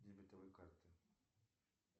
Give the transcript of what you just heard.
дебетовой карты